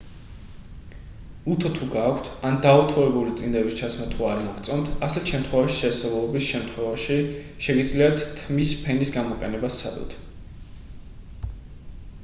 უთო თუ გაქვთ ან დაუთოებული წინდების ჩაცმა თუ არ მოგწონთ ასეთ შემთხვევაში შესაძლებლობის შემთხვევაში შეგიძლიათ თმის ფენის გამოყენება სცადოთ